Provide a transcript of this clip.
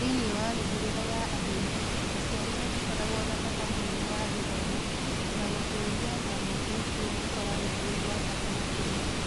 Thĩinĩ wa mĩhĩrĩga ya arĩithi, aciari matikoragwo na bata mũnene wa gĩthomo, na gũtũũria nyamũ nĩkuo gũkoragwo gwĩ gwa bata makĩria.